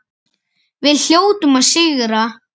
Við hljótum að sigra